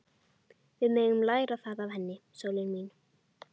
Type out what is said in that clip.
Við megum læra það af henni, sólin mín.